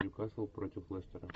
нью касл против лестера